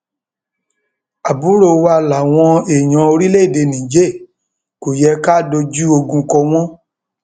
àbúrò wa làwọn èèyàn orílẹèdè niger kò yẹ ká dojú ogun kọ wọn